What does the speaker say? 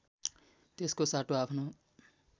त्यसको साटो आफ्नो